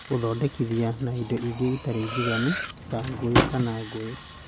Gũthondekithia na indo ingĩ itarĩ njiganu (ta ngũyũ kana ngũyũ)